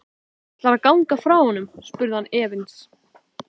Ætlarðu að ganga frá honum? spurði hann efins.